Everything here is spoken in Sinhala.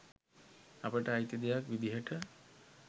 අපට අයිති දෙයක් විදිහට